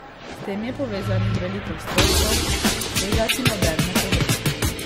S tem je povezanih veliko stroškov, tega ti noben ne pove.